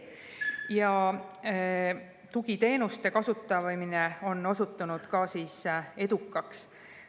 Ka tugiteenuste kasutamine on osutunud edukaks.